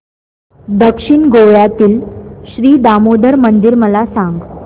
दक्षिण गोव्यातील श्री दामोदर मंदिर मला सांग